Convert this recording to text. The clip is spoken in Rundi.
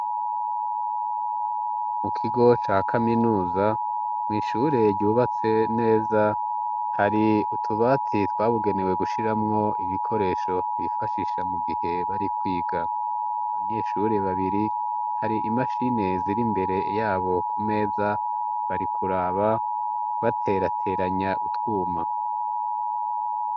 Mu kigo ca kaminuza mw' ishure ryubatse neza hari utubati twabugenewe gushiramwo ibikoresho bifashisha mu gihe bari kwiga ,abanyeshure babiri hari imashine zir' imbere yabo ku meza bari kuraba baterateranya utwuma